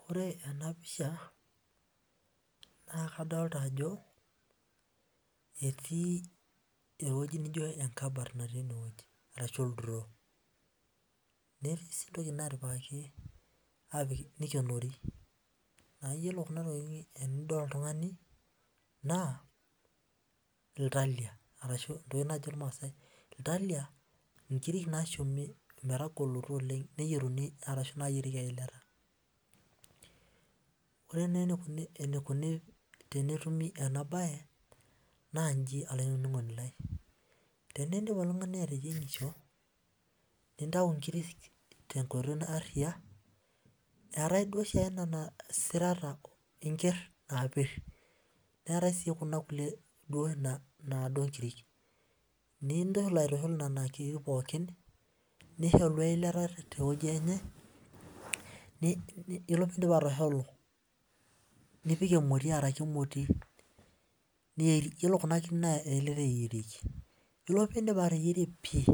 Wore ena pisha, naa kadoolta ajo etii ewoji naijo enkabat atua enewuoji arashu oldiroo. Netii sii intokitin naatipikaki nikionori. Naa iyiolo kuna tokitin tenidol oltungani, naa iltalia arashu entoki najo ilmaasae iltalia naa inkirik naashumi metagoloto oleng' neyierieki eilata. Wore nai enikuni tenetumi ena baye, naa inji olaininingoni lai, teniindip oltungani ateyiengisho, nintayu inkirik tenkoitoi aariyia, eetae duo oshiake niana sirata enkier naapir, neetae sii kunda kulie duo naado inkirik. Nintushul aitushul niana kirrik pookin, nisholu eilata tewoji enye, yiolo piindip atosholu nipik emoti aaraki emoti. Yiolo kuna kirrik naa eilata eyierieki. Yiolo pee indip ateyierie pii,